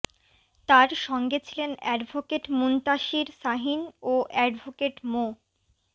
তার সঙ্গে ছিলেন অ্যাডভোকেট মুনতাসীর শাহীন ও অ্যাডভোকেট মো